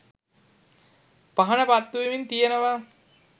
පහන පත්තුවෙමින් තියෙනවා